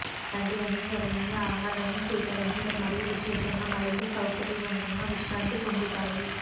అలాంటి అనుసరణలు ఆహారాన్ని స్వీకరించడం మరియు విశేషంగా మరింత సౌకర్యవంతంగా విశ్రాంతి పొందుతాయి